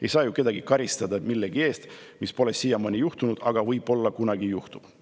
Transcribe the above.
Ei saa ju kedagi karistada millegi eest, mida pole siiamaani juhtunud, aga mis võib-olla kunagi juhtub.